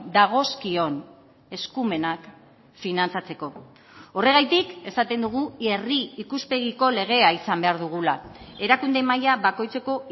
dagozkion eskumenak finantzatzeko horregatik esaten dugu herri ikuspegiko legea izan behar dugula erakunde maila bakoitzeko